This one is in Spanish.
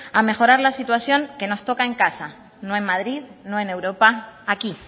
a mejorar la situación que nos toca en casa no en madrid no en europa aquí